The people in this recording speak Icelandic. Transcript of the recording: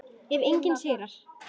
Ef enginn sigrar.